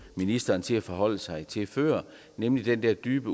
ministeren til at forholde sig til før nemlig den der dybe